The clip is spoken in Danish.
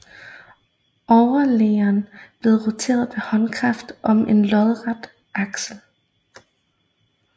Overliggeren blev roteret ved håndkraft om en lodret akse